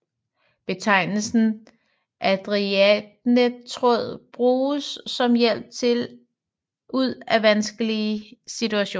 Betegnelsen ariadnetråd bruges om hjælp ud af vanskelig situation